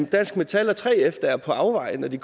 dansk metal og 3f der er på afveje når de